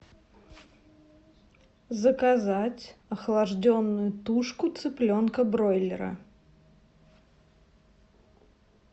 заказать охлажденную тушку цыпленка бройлера